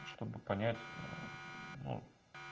чтобы понять но